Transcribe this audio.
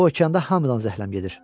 Bu okeanda hamıdan zəhləm gedir.